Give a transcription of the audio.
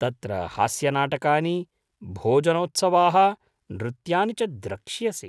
तत्र हास्यनाटकानि, भोजनोत्सवाः, नृत्यानि च द्रक्ष्यसि।